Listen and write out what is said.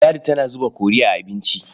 Ladi tana zuba kori a abinci.